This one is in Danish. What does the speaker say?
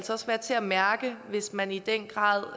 være til at mærke hvis man i den grad